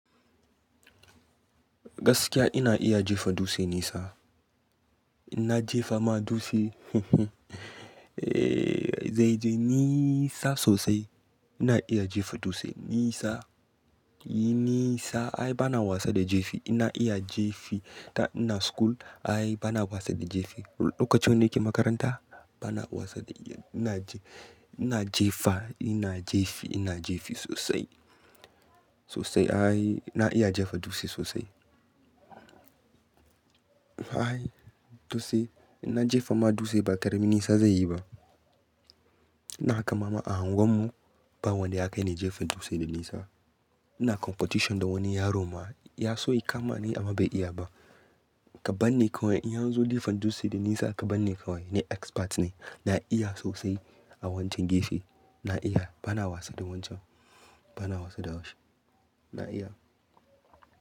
Gaskiya ina iya jefa dutse nisa. In na jefa ma dutse zai je nisa sosai. Ina iya jefa dutse nisa. Nisa ai bana wasa da jefi. Ina iya jefi. Da ina school ai bana wasa da jefi. Lokacin da nake makaranta bana wasa da, ina je, ina jefa, ina jefi, ina jefi sosai. Sosai ai ina iya jefa dutse sosai. Ai dutse inna jefa ma dutse ba karamin nisa zai yi ba. Ina kama ma a unguwar mu ba wanda ya kai ni jefa dutse da nisa. Ina competition da wani yaro ma ya so ya kama ni amma bai iya ba. Ka ban ni kawai in yanzu jefa dutse da nisa ka ban ni kawai ni expert ne. Na iya sosai a wancan gefe. Na iya bana wasa da wancan. Bana wasa da shi. Na iya.